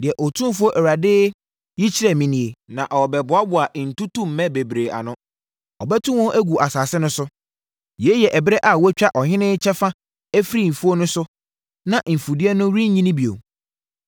Deɛ Otumfoɔ Awurade yi kyerɛɛ me nie: na ɔreboaboa ntutummɛ bebree ano, abɛto wɔn agu asase no so. Yei yɛ ɛberɛ a wɔatwa ɔhene kyɛfa afiri mfuo no so na mfudeɛ no renyini bio.